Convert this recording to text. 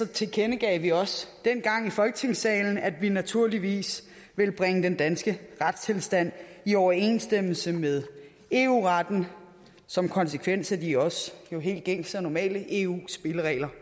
tilkendegav vi også dengang i folketingssalen at vi naturligvis ville bringe den danske retstilstand i overensstemmelse med eu retten som konsekvens af de helt gængse og normale eu spilleregler